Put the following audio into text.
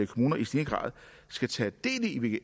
kommuner i stigende grad skal tage del i